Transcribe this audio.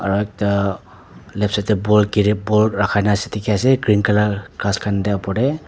aru ekta left side tae ball dekhi ase green colour ghas khan tae opor tae.